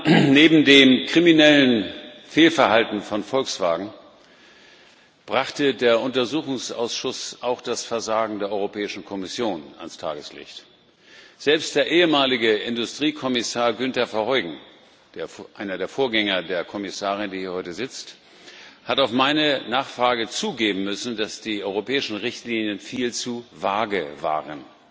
Herr Präsident, meine Damen und Herren! Neben dem kriminellen Fehlverhalten von Volkswagen brachte der Untersuchungsausschuss auch das Versagen der Europäischen Kommission ans Tageslicht. Selbst der ehemalige Industriekommissar Günter Verheugen einer der Vorgänger der Kommissarin, die heute hier sitzt hat auf meine Nachfrage zugeben müssen, dass die europäischen Richtlinien viel zu vage waren.